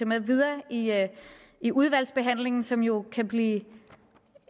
med videre i udvalgsbehandlingen som jo kan blive